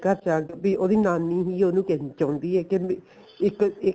ਘਰ ਚੱਲ ਜਾ ਵੀ ਉਹਦੀ ਨਾਨੀ ਵੀ ਉਹਨੂੰ ਕਹਿਣਾ ਚਾਉਂਦੀ ਏ ਕਿ ਇੱਕ ਇੱਕ